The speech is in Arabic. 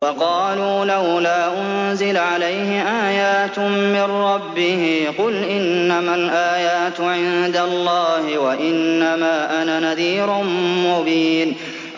وَقَالُوا لَوْلَا أُنزِلَ عَلَيْهِ آيَاتٌ مِّن رَّبِّهِ ۖ قُلْ إِنَّمَا الْآيَاتُ عِندَ اللَّهِ وَإِنَّمَا أَنَا نَذِيرٌ مُّبِينٌ